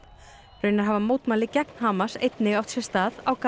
raunar hafa mótmæli gegn Hamas einnig átt sér stað á